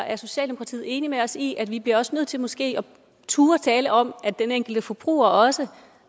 er socialdemokratiet enig med os i at vi også bliver nødt til måske at turde tale om at den enkelte forbruger også